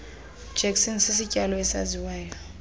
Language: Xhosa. jackson sisityalo esaziswa